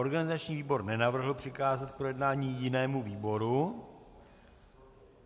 Organizační výbor nenavrhl přikázat k projednání jinému výboru.